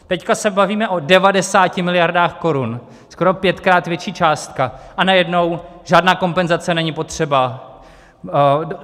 Teď se bavíme o 90 miliardách korun, skoro pětkrát větší částka a najednou: žádná kompenzace není potřeba.